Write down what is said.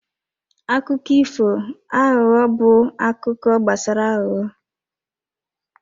Akụkọ ifo aghụghọ bụ akụkọ gbasara aghụghọ.